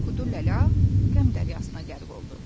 Kuduləla qəmdəryasına qərq oldu.